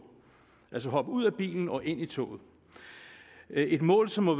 altså hopper ud af bilen og ind i toget et mål som må